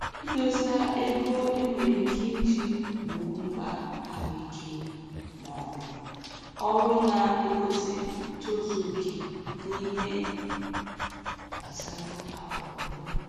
Idosa ego e nwere ike iji gboo mkpa ahụike maọbụ ọrụ na-egosi ntozu oke n'ihe gbasara akụnụba